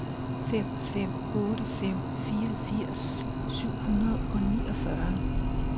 fem fem otte fem fireogfirs syv hundrede og niogfyrre